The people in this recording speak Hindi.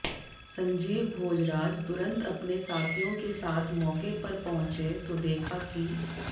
संजीव भोजराज तुरंत अपने साथियों के साथ मौके पर पहुंचे तो देखा कि